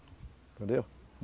Entendeu?